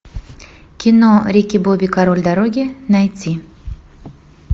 кино рики бобби король дороги найти